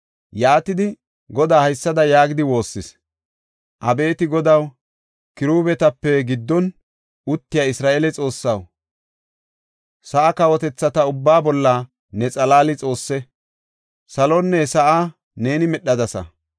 Yaatidi, Godaa haysada yaagidi woossis; “Abeeti Godaw, kiruubetape giddon uttiya Isra7eele Xoossaw, sa7aa kawotethata ubbaa bolla ne xalaali Xoosse; saluwanne sa7aa neeni medhadasa.